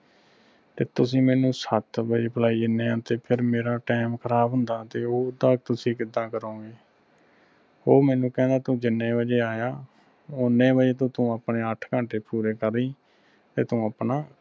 ਤੇ ਤੁਸੀਂ ਮੈਨੂੰ ਸੱਤ ਵਜੇ ਬੁਲਾਈ ਜਾਂਦੇ ਉਹ ਫਿਰ ਮੇਰਾ time ਖ਼ਰਾਬ ਹੁੰਦਾ ਤੇ ਓਹਦਾ ਤੁਸੀਂ ਕਿਦਾਂ ਕਰੋਗੇ ਉਹ ਮੈਨੂੰ ਕਹਿੰਦਾ ਤੂੰ ਜਿੰਨੇ ਵਜੇ ਆਇਆ ਓਹਨੇ ਵਜੇ ਤੋਂ ਤੂੰ ਆਪਣੇ ਅੱਠ ਘੰਟੇ ਪੂਰੇ ਕਰੀ ਤੇ ਤੂੰ ਆਪਣਾ